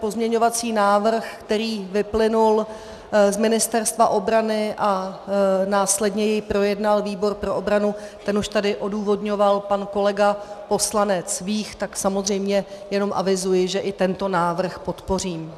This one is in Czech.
Pozměňovací návrh, který vyplynul z Ministerstva obrany a následně jej projednal výbor pro obranu, ten už tady odůvodňoval pan kolega poslanec Vích, tak samozřejmě jenom avizuji, že i tento návrh podpořím.